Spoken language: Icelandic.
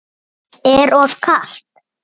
Er of kalt.